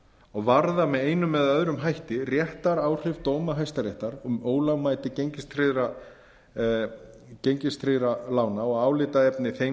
og varða með einum eða öðrum hætti réttaráhrif dómara hæstaréttar um ólögmæti gengistryggðra lána og álitaefni þeim